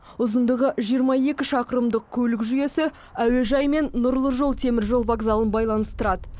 ұзындығы жиырма екі шақырымдық көлік жүйесі әуежай мен нұрлы жол теміржол вокзалын байланыстырады